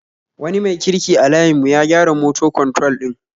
Wani mai kirki a layin mu ya gyara moto kwantrol din